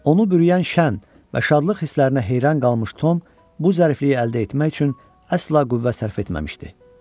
Onu bürüyən şən və şadlıq hisslərinə heyran qalmış Tom bu zərifliyi əldə etmək üçün əsla qüvvə sərf etməmişdi.